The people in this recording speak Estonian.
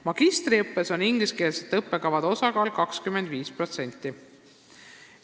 Magistriõppes on ingliskeelsete õppekavade osakaal 25%.